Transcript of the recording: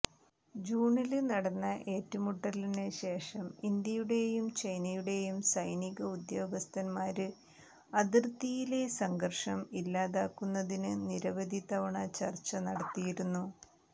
ജൂണില് നടന്ന ഏറ്റുമുട്ടലിന് ശേഷം ഇന്ത്യയുടെയും ചൈനയുടെയും സൈനിക ഉദ്യോഗസ്ഥന്മാര് അതിര്ത്തിയിലെ സംഘര്ഷം ഇല്ലാതാക്കുന്നതിന് നിരവധി തവണ ചര്ച്ച നടത്തിയിരുന്നു